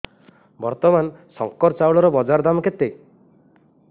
ବର୍ତ୍ତମାନ ଶଙ୍କର ଚାଉଳର ବଜାର ଦାମ୍ କେତେ